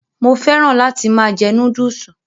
Mo féràn láti máa jẹ Núdúùsù